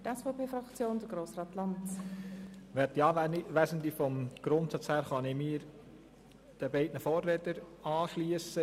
Ich kann mich im Grundsatz meinen beiden Vorrednern anschliessen.